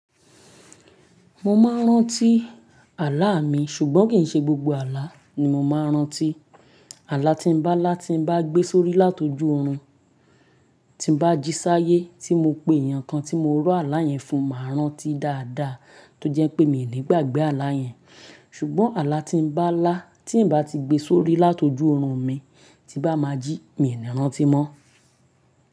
Mo máa ń rántí àláa mi, ṣùgbọ́n kì í ṣe gbogbo àlá ni mo máa ń rántí. Àlá tí n bá lá tí bá gbé sórí látọjú oorun tí bá jí sáyé tí mo pè yàn kan tí mo rọ àlá yẹn fún máa rántí dáadáa tó jẹ́ pé mi ò ní gbàgbé àlá yẹn. Ṣùgbọ́n àlá tí n bá lá tí n bá ti gbé sórí látọjú oorun mi tí bá máa jí mi ò ní rántí mọ́